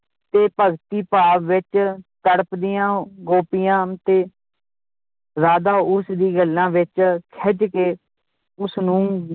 ਤੇ ਭਗਤੀ ਭਾਵ ਵਿਚ ਤੜਪਦੀਆਂ ਗੋਪੀਆਂ ਤੇ ਰਾਧਾ ਉਸ ਦੀ ਗੱਲਾਂ ਵਿਚ ਖਿੱਝ ਕੇ ਉਸਨੂੰ